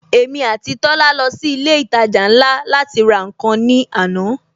Èmi àti Tola lọ sí ilé ìtajà ńlá láti ra nkan ní àná